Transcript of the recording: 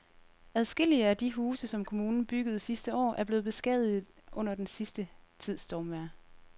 Adskillige af de huse, som kommunen byggede sidste år, er blevet beskadiget under den sidste tids stormvejr.